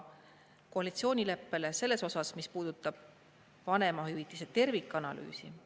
Koalitsioonileppega selles osas, mis puudutab vanemahüvitise tervikanalüüsi.